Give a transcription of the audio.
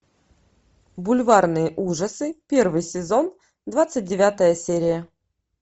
бульварные ужасы первый сезон двадцать девятая серия